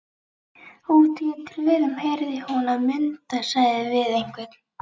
Úti í tröðum heyrði hún að Munda sagði við einhvern